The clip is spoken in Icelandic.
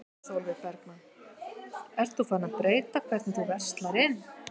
Sólveig Bergmann: Ert þú farin að breyta hvernig þú verslar inn?